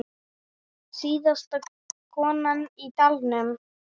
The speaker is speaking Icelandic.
Síðasta konan í dalnum